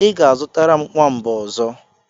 I ga-azụtara m nwamba ọzọ.